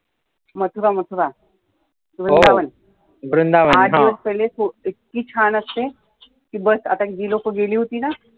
मथुरा मथुरा वृंदावन आठ दिवस पहिले इतकी छान असते की बस आता ही लोकं गेली होतॊ न